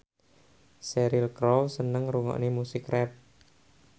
Cheryl Crow seneng ngrungokne musik rap